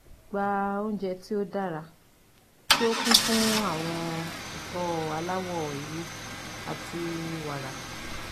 Gba ounjẹ ti o dara ti o kun fun awọn ẹfọ alawọ ewe ati wara